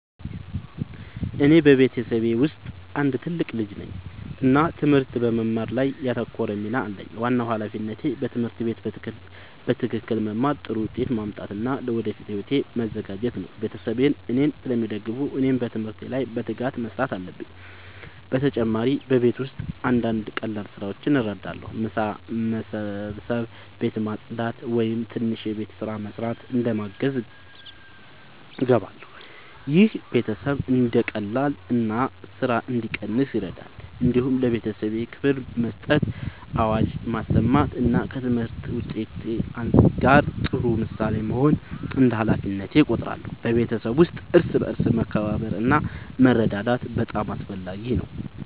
እኔ በቤተሰቤ ውስጥ አንድ ትልቅ ልጅ ነኝ እና ትምህርት በመማር ላይ ያተኮረ ሚና አለኝ። ዋናው ሃላፊነቴ በትምህርት ቤት በትክክል መማር፣ ጥሩ ውጤት ማምጣት እና ለወደፊት ሕይወቴ መዘጋጀት ነው። ቤተሰቤ እኔን ስለሚደግፉ እኔም በትምህርት ላይ በትጋት መስራት አለብኝ። በተጨማሪ በቤት ውስጥ አንዳንድ ቀላል ስራዎችን እረዳለሁ። ምሳ መስበስ፣ ቤት ማጽዳት ወይም ትንሽ የቤት ስራ መስራት እንደ ማገዝ እገባለሁ። ይህ ቤተሰብ እንዲቀላቀል እና ስራ እንዲቀንስ ይረዳል። እንዲሁም ለቤተሰቤ ክብር መስጠት፣ አዋጅ መስማት እና ከትምህርት ውጤት ጋር ጥሩ ምሳሌ መሆን እንደ ሃላፊነቴ እቆጥራለሁ። በቤተሰብ ውስጥ እርስ በርስ መከባበር እና መረዳዳት በጣም አስፈላጊ ነው።